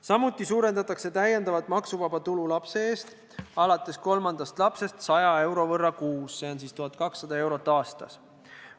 Samuti suurendatakse täiendavat maksuvaba tulu lapse eest alates kolmandast lapsest 100 euro võrra kuus, see teeb 1200 eurot aastas.